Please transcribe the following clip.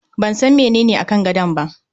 Ban san menene akan gadon ba.